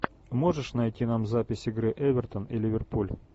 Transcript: можешь найти нам запись игры эвертон и ливерпуль